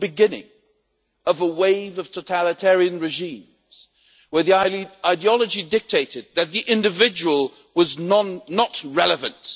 It was the beginning of a wave of totalitarian regimes, in which the ideology dictated that the individual was not relevant